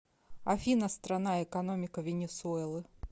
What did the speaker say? афина страна экономика венесуэлы